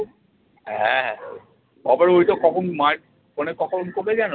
হ্যাঁ হ্যাঁ মায়ের phone এ কখন যেন?